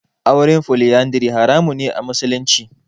Auren Foliyandari haramun ne a musulunci.